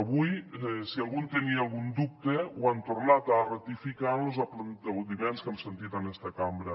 avui si algú en tenia algun dubte ho han tornat a ratificar amb los aplaudiments que hem sentit en aquesta cambra